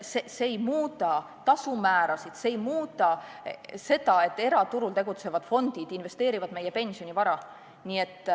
See ei muuda tasumäärasid, see ei muuda seda, et eraturul tegutsevad fondid investeerivad meie pensionivara.